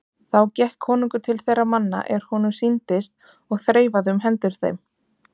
Þá gekk konungur til þeirra manna er honum sýndist og þreifaði um hendur þeim.